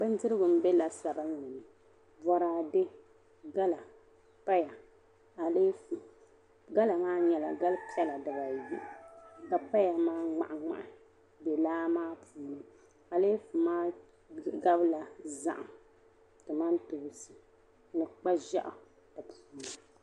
Bin dirigu n be lasabinlini. bɔrade gala paya aleefu, gala maa nyɛla gali pala di ba yi. ka paya maa mŋahi mŋahi n be laa maa puuni, aleefu maa gabila zahim, ni tomantoonsi ni kpa ʒɛɣu.